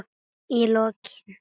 Í lokin.